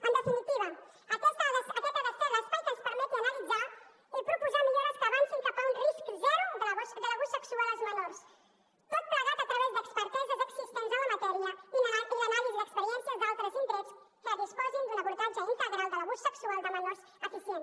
en definitiva aquest ha de ser l’espai que ens permeti analitzar i proposar millores que avancin cap a un risc zero de l’abús sexual als menors tot plegat a través d’experteses existents en la matèria i l’anàlisi d’experiències d’altres indrets que disposin d’un abordatge integral de l’abús sexual de menors eficient